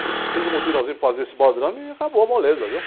Aí, fiz um mutirãozinho para fazer esse baldrame e acabou a moleza, viu?